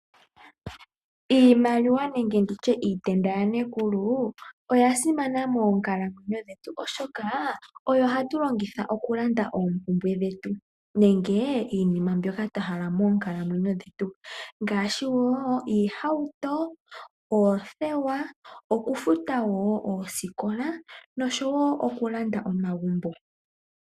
Iimaliwa nenge nditye iitenda yaNekulu oyasima moonkalamwenyo dhetu, oshoka oyo hatu longitha okulanda oompumbwe dhetu nenge iinima mbyoka twa hala moonkalamwenyo dhetu ngaashi woo oohauto, oothewa okufuta woo oosikola nosho woo okulanda omagumbo.